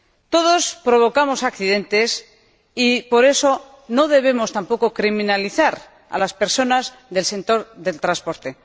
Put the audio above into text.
Todos provocamos accidentes, y por eso no debemos tampoco criminalizar a las personas del sector del transporte.